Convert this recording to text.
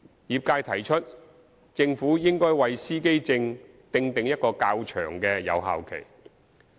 業界提出政府應為司機證訂定一個較長的有效期。